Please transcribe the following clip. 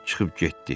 Çıxıb getdi.